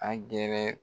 Angɛrɛ